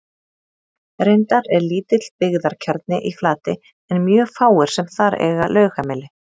Reyndar er lítill byggðakjarni í Flatey en mjög fáir sem þar eiga lögheimili.